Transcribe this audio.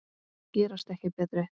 Gerast ekki betri.